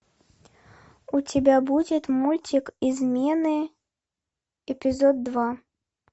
у тебя будет мультик измены эпизод два